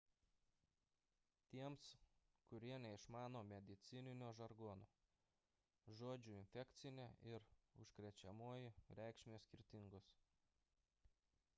tiems kurie neišmano medicininio žargono žodžių infekcinė ir užkrečiamoji reikšmės skirtingos